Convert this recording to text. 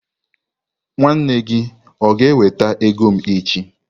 Nwanne gi o ga-eweta ego m echi?